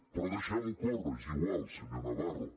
però deixem ho córrer és igual senyor navarro